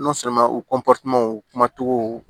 u kuma cogo